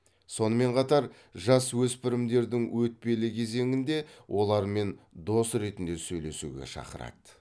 сонымен қатар жасөспірімдердің өтпелі кезеңінде олармен дос ретінде сөйлесуге шақырады